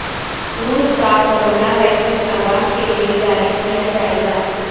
روس کا corona vaccine عوام کیلئے جاری کیا جائے گا